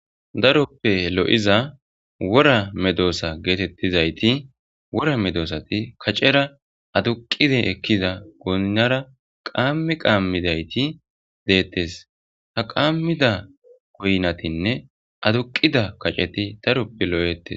daroppe lo7iza wora medoosa geetettizayti wora medoosati kaccera aduqide ekkida goynnara qaammi qaammidayti deettes ha qaammida koynatinne aduqida kaceti daroppe lo7ettes